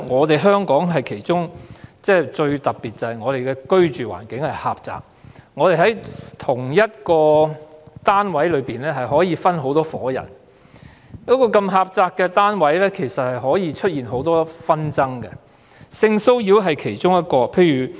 大家也知道，香港最特別之處是居住環境狹窄，在同一單位內可能分別有多伙人居住，所以容易出現很多紛爭，性騷擾是其中一項。